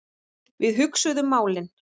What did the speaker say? Við hugsuðum málin.